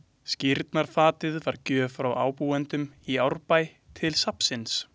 Skírnarfatið var gjöf frá ábúendum í Árbæ til safnsins.